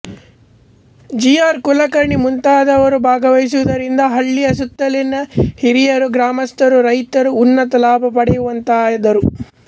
G R Kulkarni ಮುಂತಾದವರು ಭಾಗವಹಿಸುವುದರಿಂದ ಹಳ್ಳಿಯ ಸುತ್ತಲಿನ ಹಿರಿಯರು ಗ್ರಾಮಸ್ಥರುರೈತರು ಉನ್ನತ ಲಾಭ ಪಡೆಯುವಂತಾದರು